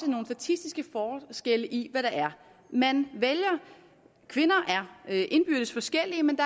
nogle statistiske forskelle i hvad man vælger kvinder er indbyrdes forskellige men